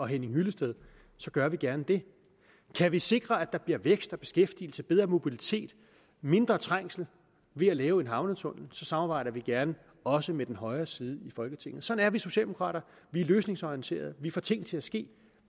henning hyllested så gør vi gerne det kan vi sikre at der bliver vækst beskæftigelse bedre mobilitet og mindre trængsel ved at lave en havnetunnel så samarbejder vi gerne også med den højre side i folketinget sådan er vi socialdemokrater vi er løsningsorienterede vi får ting til at ske